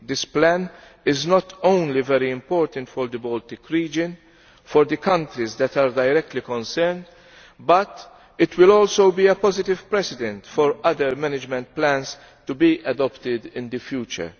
This plan is not only very important for the Baltic region and the countries that are directly concerned, but it will also be a positive precedent for other management plans to be adopted in the future.